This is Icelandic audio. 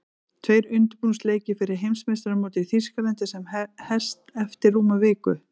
Tveir undirbúningsleikir fyrir Heimsmeistaramótið í Þýskalandi sem hest eftir rúma viku.